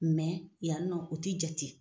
yan nɔ o t'i jate.